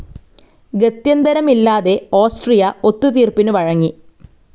ഗത്യന്തരമില്ലാതെ Austria ഒത്തു തീർപ്പിനു വഴങ്ങി.